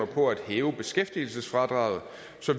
på at hæve beskæftigelsesfradraget